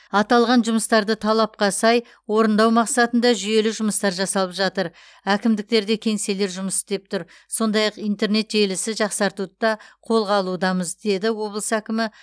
аталған жұмыстарды талапқа сай орындау мақсатында жүйелі жұмыстар жасалып жатыр әкімдіктерде кеңселер жұмыс істеп тұр сондай ақ интернет желісі жақсартуды да қолға алудамыз деді облыс әкімі